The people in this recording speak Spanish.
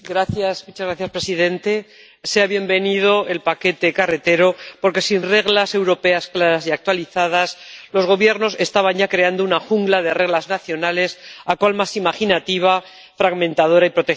Señor presidente, sea bienvenido el paquete carretero, porque, sin reglas europeas claras y actualizadas, los gobiernos estaban ya creando una jungla de reglas nacionales, a cual más imaginativa, fragmentadora y proteccionista.